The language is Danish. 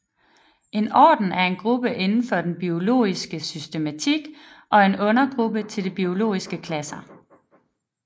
En orden er en gruppe indenfor den biologiske systematik og en undergruppe til de biologiske klasser